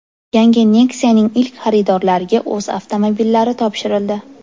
Yangi Nexia’ning ilk xaridorlariga o‘z avtomobillari topshirildi .